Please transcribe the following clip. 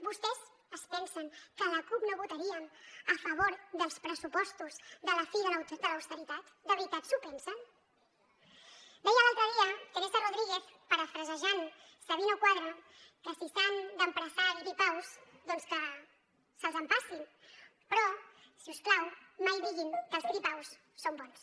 vostès es pensen que la cup no votaríem a favor dels pressupostos de la fi de l’austeritat de veritat s’ho pensen deia l’altre dia teresa rodríguez parafrasejant sabino cuadra que si s’han d’empassar gripaus doncs que se’ls empassin però si us plau mai diguin que els gripaus són bons